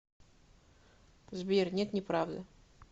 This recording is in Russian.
сбер нет неправда